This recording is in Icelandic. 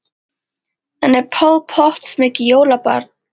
En er Paul Potts mikið jólabarn?